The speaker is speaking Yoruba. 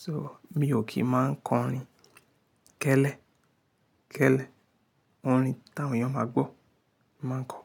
So, mi ò kí ń máa ń kọrin kẹ́lẹ́, kẹ́lẹ́. Orin táwọn èèyàn máa gbọ́, mo máa ń kọ.